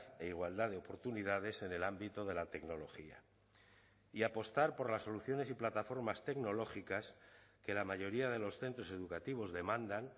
e igualdad de oportunidades en el ámbito de la tecnología y apostar por las soluciones y plataformas tecnológicas que la mayoría de los centros educativos demandan